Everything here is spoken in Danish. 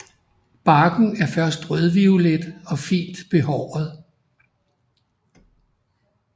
Barken er først rødviolet og fint behåret